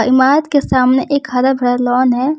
इमारत के सामने एक हरा भरा लॉन है।